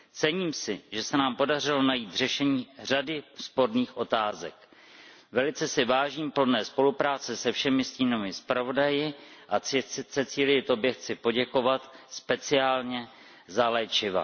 Cením si, že se nám podařilo najít řešení řady sporných otázek. Velice si vážím plodné spolupráce se všemi stínovými zpravodaji a Cecilie, tobě chci poděkovat speciálně za léčiva.